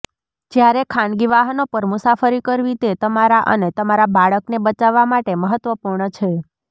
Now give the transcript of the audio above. જ્યારે ખાનગી વાહનો પર મુસાફરી કરવી તે તમારા અને તમારા બાળકને બચાવવા માટે મહત્વપૂર્ણ છે